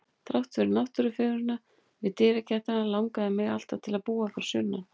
Þrátt fyrir náttúrufegurðina við dyragættina langaði mig alltaf til að búa fyrir sunnan.